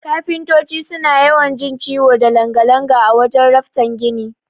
Kafintoti suna yawan jin ciwo da langa-langa a wajan raftan gini.